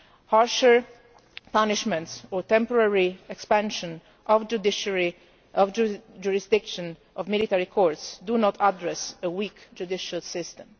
Harsher punishments or the temporary expansion of the jurisdiction of military courts do not address a weak judicial system.